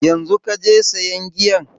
Yanzu kaje sayan giyan?